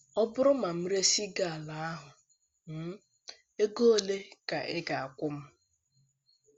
Ọ bụrụ na m éresị gị ala ahụ um, ego ole ka ị ga - akwụ m?